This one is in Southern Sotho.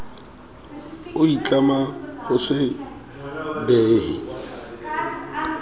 o itlama ho se behe